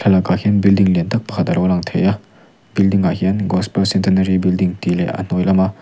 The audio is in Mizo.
a lakah hian building lian tak pakhat alo lang thei a building ah hian gospel centenary building tih leh a hnuai lama--